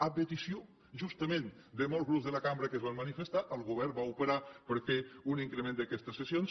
a petició justament de molts grups de la cambra que es van manifestar el govern va operar per fer un increment d’aquestes cessions